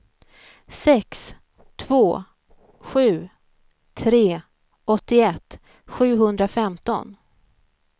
sex två sju tre åttioett sjuhundrafemton